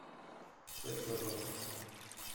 секс на завтрак